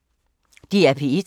DR P1